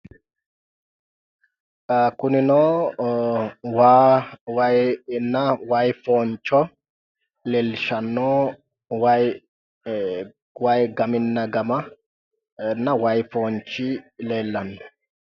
Kunino waa wayi inna waayii fooncho leellishshanno wayi..waayi gaminna gama wayii foonchi leellanno.